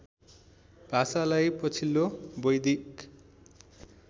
भाषालाई पछिल्लो वैदिक